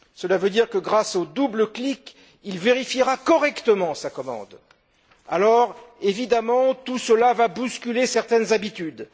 Cela veut dire que grâce au double clic, il vérifiera correctement sa commande. Évidemment, tout cela va bousculer certaines habitudes.